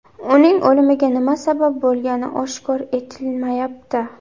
Uning o‘limiga nima sabab bo‘lgani oshkor etilmayapti.